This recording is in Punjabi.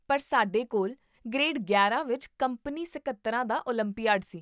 ਪਰ ਸਾਡੇ ਕੋਲ ਗ੍ਰੇਡ ਗਿਆਰਾਂ ਵਿੱਚ ਕੰਪਨੀ ਸਕੱਤਰਾਂ ਦਾ ਓਲੰਪੀਆਡ ਸੀ